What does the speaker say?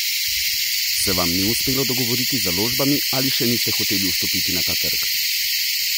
Se vam ni uspelo dogovoriti z založbami ali še niste hoteli vstopiti na ta trg?